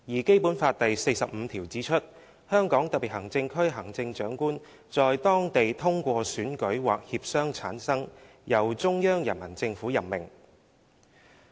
"《基本法》第四十五條則指出："香港特別行政區行政長官在當地通過選舉或協商產生，由中央人民政府任命。